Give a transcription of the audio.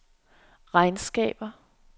regnskaber